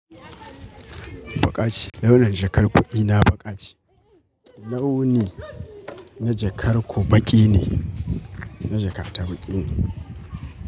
Baƙa ce, launin jakar kuɗ ina baƙa ce. Launi na jakar ku baƙi ne, na jakata baƙi ne.